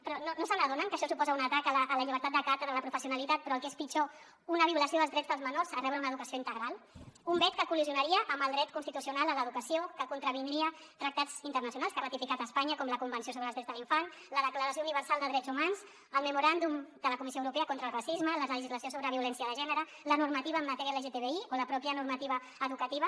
però no s’adonen que això suposa un atac a la llibertat de càtedra a la pro·fessionalitat però el que és pitjor una violació dels drets dels menors a rebre una educació integral un vet que col·lidiria amb el dret constitucional a l’educació que contravindria tractats internacionals que ha ratificat espanya com la convenció so·bre els drets de l’infant la declaració universal de drets humans el memoràndum de la comissió europea contra el racisme la legislació sobre violència de gènere la normativa en matèria lgtbi o la pròpia normativa educativa